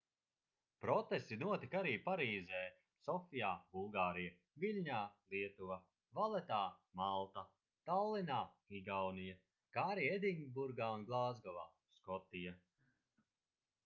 protesti notika arī parīzē sofijā bulgārija viļņā lietuva valetā malta tallinā igaunija kā arī edinburgā un glāzgovā skotija